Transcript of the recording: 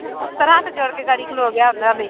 ਅਫ਼ਸਰ ਹੱਥ ਜੋੜ ਕੇ ਖਲੋ ਗਿਆ ਉਹਨਾਂ ਦੇ।